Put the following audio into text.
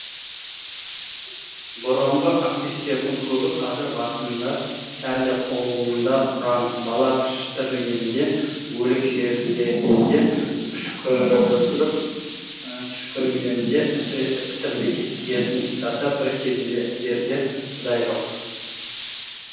бұрынғы активтердің көбі кәзір басында сәлде қолында құран бала піштіргенде өлік жерлегенде үшкіріп түшкіргенде әсіресе пітір зекет тиетін тұстарда бір кездерде құдай жоқ